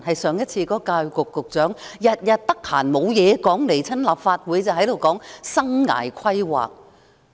教育局局長太悠閒，每次來立法會便說"生涯規劃"。